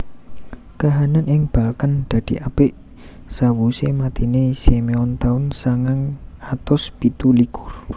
Kahanan ing Balkan dadi apik sawusé matiné Simeon taun sangang atus pitu likur